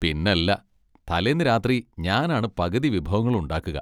പിന്നല്ല! തലേന്ന് രാത്രി ഞാനാണ് പകുതി വിഭവങ്ങളും ഉണ്ടാക്കുക.